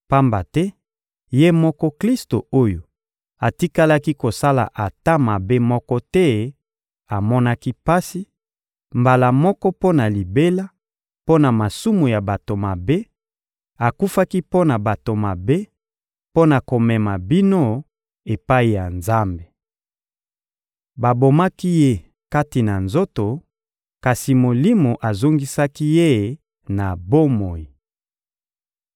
Pamba te Ye moko Klisto oyo atikalaki kosala ata mabe moko te amonaki pasi, mbala moko mpo na libela, mpo na masumu ya bato mabe; akufaki mpo na bato mabe, mpo na komema bino epai ya Nzambe. Babomaki Ye kati na nzoto, kasi Molimo azongisaki Ye na bomoi.